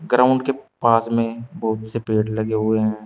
Ground के पास में बहुत से पेड़ लगे हुए हैं।